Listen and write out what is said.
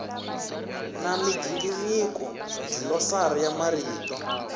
na migingiriko dlilosari ya marito